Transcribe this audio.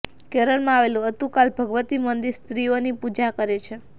કેરલમાં આવેલું અત્તુકાલ ભગવતી મંદિર સ્ત્રીઓની પૂજા કરે છે